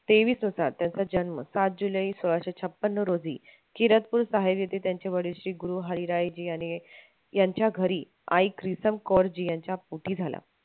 तेवीस होता त्यांचा जन्म सात जुलै सोळाशे छपन्न रोजी खिरसपूर त्यांचे वडील श्री गुरु हरीरायजी यांच्या घरी आई प्रितम कौरजी यांच्या पोटी झाला.